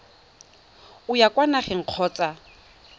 o ya kwa nageng kgotsa